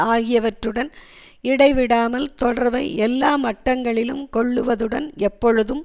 ஆகியவற்றுடன் இடைவிடாமல் தொடர்பை எல்லா மட்டங்களிலும் கொள்ளுவதுடன் எப்பொழுதும்